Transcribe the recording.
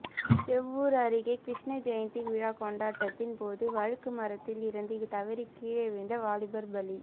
சேவூர் அருகே கிருஷ்ணஜெயந்தி விழா கொண்டாட்டத்தின் போது வழுக்கு மரத்தில் இருந்து தவறி கீழே விழுந்த வாலிபர் பலி